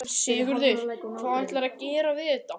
Sigurður: Hvað ætlarðu að gera við þetta?